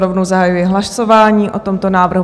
Rovnou zahajuji hlasování o tomto návrhu.